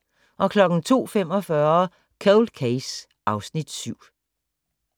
02:45: Cold Case (Afs. 7)